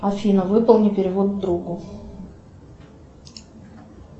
афина выполни перевод другу